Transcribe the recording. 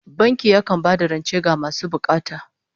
Banki yakan ba da rance ga masu bukata